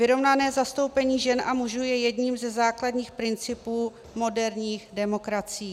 Vyrovnané zastoupení žen a mužů je jedním ze základních principů moderních demokracií.